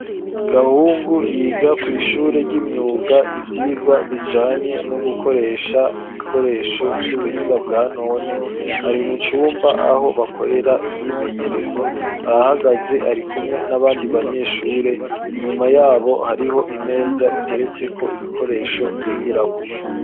Gahungu, yiga kw'ishure ry'imyuga, ivyigwa bijanye, no gukoresha ibikoresho, vy'ubuhinga bwa none; ari mu cumba, aho bakorera imyimenyerezo, arahagaze, ari kumwe n'abandi banyeshure; inyuma y'abo, hariho imeza, iteretseko ibikoresho, bigirako.